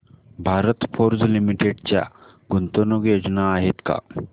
Bharat Forge Limited च्या गुंतवणूक योजना आहेत का